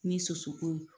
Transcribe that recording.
Ni soso ko